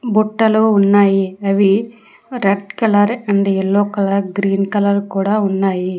బుట్టలొ ఉన్నాయి అవి red colour and yellow colour green colour కూడా ఉన్నాయి.